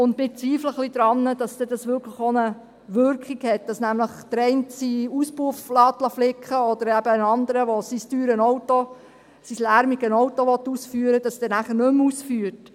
Wir zweifeln ein wenig daran, ob das wirklich auch eine Wirkung hat, nämlich so, dass der eine seinen Auspuff flicken lässt oder der andere sein teures lärmiges Auto dann nicht mehr ausführt.